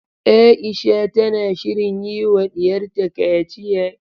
Aisha tana shirin yiwa diyarta kaciya.